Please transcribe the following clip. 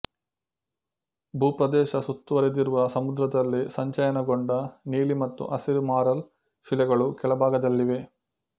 ಭೂಪ್ರದೇಶ ಸುತ್ತುವರಿದಿರುವ ಸಮುದ್ರದಲ್ಲಿ ಸಂಚಯನಗೊಂಡ ನೀಲಿ ಮತ್ತು ಹಸಿರು ಮಾರಲ್ ಶಿಲೆಗಳು ಕೆಳಭಾಗದಲ್ಲಿವೆ